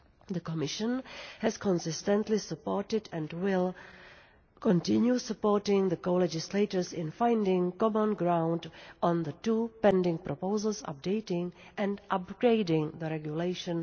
The Commission has consistently supported, and will continue supporting, the co legislators in finding common ground on the two pending proposals updating and upgrading Regulation